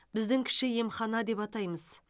біздің кіші емхана деп атаймыз